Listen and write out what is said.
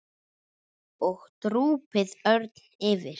og drúpir örn yfir.